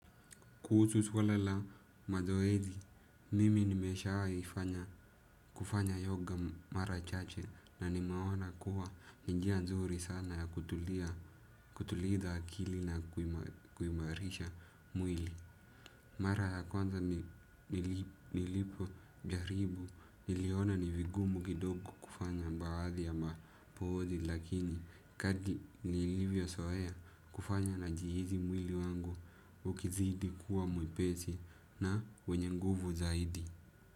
Kuusu swala la mazoezi, mimi nimeshai kufanya yoga mara chache na nimeona kuwa ni njia nzuri sana ya kutuliza akili na kuimarisha mwili. Mara ya kwanza nilipo jaribu niliona ni vigumu gidoko kufanya mbaadhi ya mapozi lakini kadri nilivyo soea kufanya najihizi mwili wangu ukizidi kuwa mwepesi na wenye nguvu zaidi.